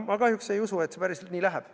Ma kahjuks ei usu, et see päris nii läheb.